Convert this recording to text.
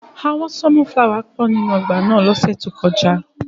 Awọn sọnufulawa pọ ninu ọgba náa lọse to koja.